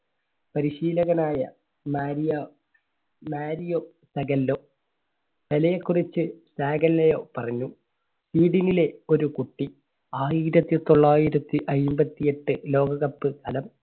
പരിശീലകൻ ആയ Mario, Mario Zagallo. പെലെയെ കുറിച്ച് സാഗല്ലോ പറഞ്ഞു, ഒരു കുട്ടി ആയിരത്തി തൊള്ളായിരത്തി അന്പത്തി എട്ട് ലോക കപ്പ് ഫലം